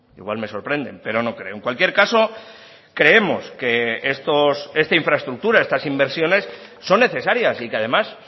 igual me sorprenden pero no creo en cualquier caso creemos que esta infraestructura estas inversiones son necesarias y que además